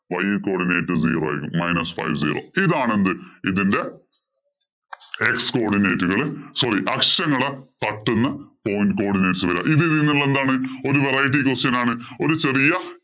Y codinate zero ആണ്. Minus five zero. ഇതാണ് എന്ത് ഇതിന്‍റെ x coordinate ഉകള് sorry അക്ഷങ്ങളെ തട്ടുന്ന point codinate ഉകള്‍. ഇത് ഇതില്‍ നിന്ന് എന്താണ് ഒരു variety question ആണ്. ഒരു ചെറിയ